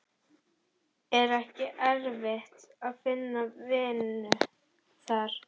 Er ekki erfitt að finna vinnu þar?